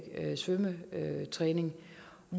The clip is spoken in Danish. kunne svømme